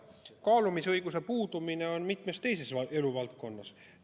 Kaalumisõigus puudub mitmes teises eluvaldkonnas.